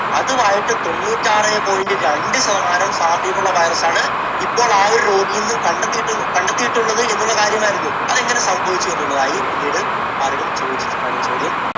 അതും ആയിട്ട് തൊണ്ണൂറ്റാറ് point രണ്ടു ശതമാനം സാമ്യമുള്ള virus ണ് ഇപ്പോൾ ആ ഒരു രോഗിയിൽ നിന്നും കണ്ടെത്തിയിട്ടുള്ളത്~ കണ്ടെത്തിയിട്ടുള്ളത് എന്നുള്ള കാര്യം ആയിരുന്നു. അത് എങ്ങനെ സംഭവിച്ചു എന്നുള്ളത് ആയി പിന്നീട് പലരും ചോദിച്ചിട്ടുണ്ടായിരുന്ന ചോദ്യം